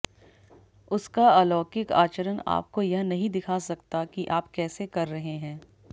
उसका अलौकिक आचरण आपको यह नहीं दिखा सकता कि आप कैसे कर रहे हैं